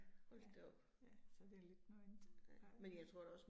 Ja, ja, så det lidt noget andet. Ja